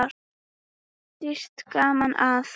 Dýrt gaman það.